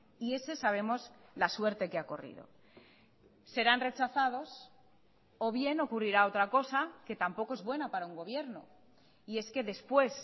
y ese sabemos la suerte que ha corrido serán rechazados o bien ocurrirá otra cosa que tampoco es buena para un gobierno y es que después